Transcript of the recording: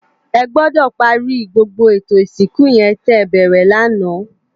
Ègbòdò pàri gbógbó étó isinkú yèn tè bèrè làná